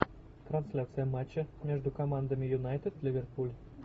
трансляция матча между командами юнайтед ливерпуль